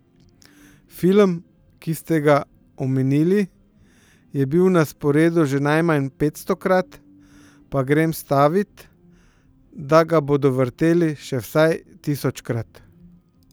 Film, ki ste ga omenili, je bil na sporedu že najmanj petstokrat, pa grem stavit, da ga bodo vrteli še vsaj tisočkrat.